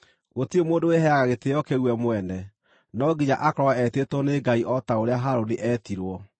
Gũtirĩ mũndũ wĩheaga gĩtĩĩo kĩu we mwene; no nginya akorwo etĩtwo nĩ Ngai, o ta ũrĩa Harũni eetirwo.